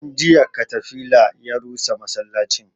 Tun jiya katafila ya rusa masallacin